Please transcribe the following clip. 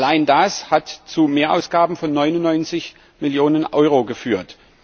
Allein das hat zu Mehrausgaben von 99 Millionen Euro geführt.